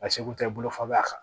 A seko tɛ bolofa b'a kan